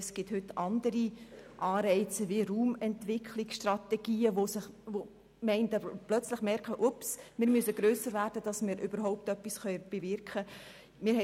Es gibt heute andere Anreize wie Raumentwicklungsstrategien, bei denen Gemeinden plötzlich merken: Achtung, wir müssen grösser werden, damit wir überhaupt etwas bewirken können.